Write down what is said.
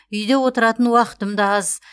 үйде отыратын уақытым да аз